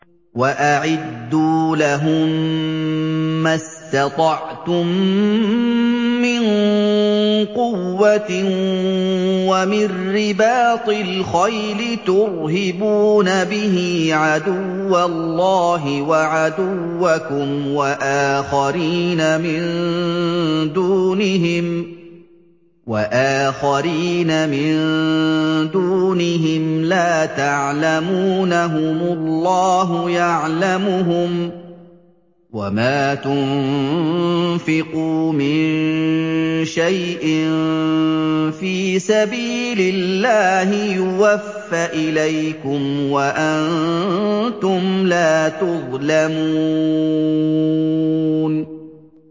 وَأَعِدُّوا لَهُم مَّا اسْتَطَعْتُم مِّن قُوَّةٍ وَمِن رِّبَاطِ الْخَيْلِ تُرْهِبُونَ بِهِ عَدُوَّ اللَّهِ وَعَدُوَّكُمْ وَآخَرِينَ مِن دُونِهِمْ لَا تَعْلَمُونَهُمُ اللَّهُ يَعْلَمُهُمْ ۚ وَمَا تُنفِقُوا مِن شَيْءٍ فِي سَبِيلِ اللَّهِ يُوَفَّ إِلَيْكُمْ وَأَنتُمْ لَا تُظْلَمُونَ